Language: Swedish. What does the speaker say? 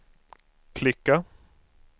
klicka